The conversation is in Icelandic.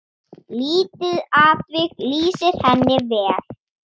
Lítið atvik lýsir henni vel.